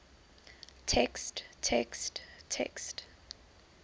text text text